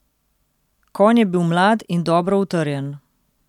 Konj je bil mlad in dobro utrjen.